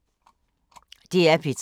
DR P3